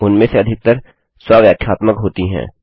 उनमें से अधिकतर स्व व्याख्यात्मक होती हैं